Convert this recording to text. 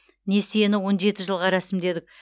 несиені он жеті жылға рәсімдедік